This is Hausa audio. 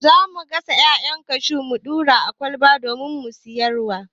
Za mu gasa 'ya'yan kashu mu ɗura a ƙwalba domin siyar wa.